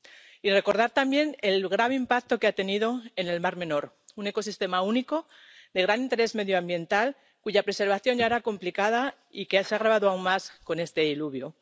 Y quiero recordar también el grave impacto que ha tenido en el mar Menor, un ecosistema único de gran interés medioambiental, cuya preservación ya era complicada y que se ha agravado aún más con este diluvio.